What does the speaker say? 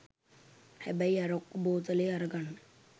හැබැයි අරක්කු බෝතලේ අරගන්න